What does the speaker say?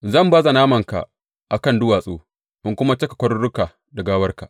Zan baza namanka a kan duwatsu in kuma cika kwaruruka da gawarka.